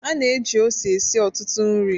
A na-eji ose esi ọtụtụ nri.